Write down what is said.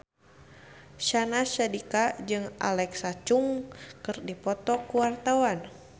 Syahnaz Sadiqah jeung Alexa Chung keur dipoto ku wartawan